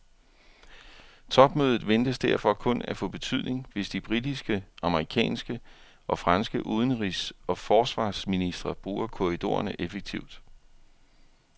Topmødet ventes derfor kun at få betydning, hvis de britiske, amerikanske og franske udenrigs og forsvarsministre bruger korridorerne effektivt.